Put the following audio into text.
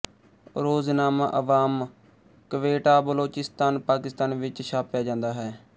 ਰੋਜ਼ਨਾਮਾ ਅਵਾਮ ਕਵੇਟਾਬਲੋਚਿਸਤਾਨ ਪਾਕਿਸਤਾਨ ਵਿੱਚ ਛਾਪਿਆ ਜਾਂਦਾ ਹੈ